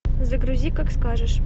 загрузи как скажешь